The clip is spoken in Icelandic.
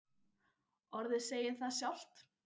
Orðið segir það sjálft.